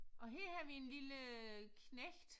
Og her har vi en lille knægt